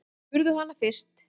Spurðu hana fyrst.